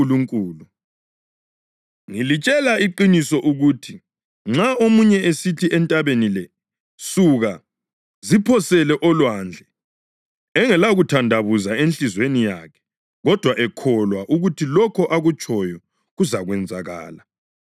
Ngilitshela iqiniso ukuthi nxa omunye esithi entabeni le, ‘Suka, ziphosele olwandle,’ engelakuthandabuza enhliziyweni yakhe, kodwa ekholwa ukuthi lokho akutshoyo kuzakwenzakala, kuzakwenziwa kuye.